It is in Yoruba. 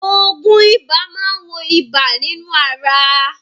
Òògùn ibà máa wo ibà nínú ara.